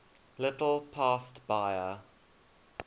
little past bahia